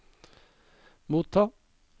motta